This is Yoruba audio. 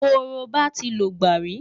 Korobá ti lògbà rí.